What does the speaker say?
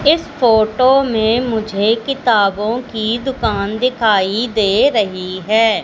इस फोटो में मुझे किताबों की दुकान दिखाई दे रहीं हैं।